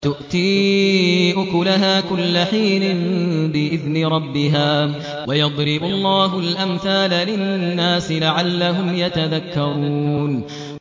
تُؤْتِي أُكُلَهَا كُلَّ حِينٍ بِإِذْنِ رَبِّهَا ۗ وَيَضْرِبُ اللَّهُ الْأَمْثَالَ لِلنَّاسِ لَعَلَّهُمْ يَتَذَكَّرُونَ